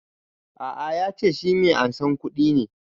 A'a ya ce shi mai ansan kuɗi ne